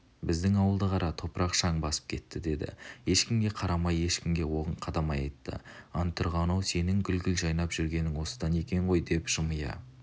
біздің ауылды қара топырақ шаң басып кетті деді ешкімге қарамай ешкімге оғын қадамай айтты антұрған-ау сенің гүл-гүл жайнап жүргенің осыдан екен ғой деп жымия